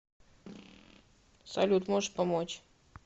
салют можешь помочь